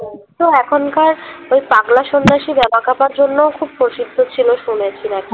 তো এখনকার ওই পাগলা সন্যাসী বামাক্ষ্যাপার জন্য খুব প্রসিদ্ধ ছিল শুনেছি নাকি